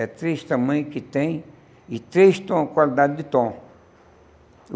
É três tamanho que tem e três tom qualidade de tom.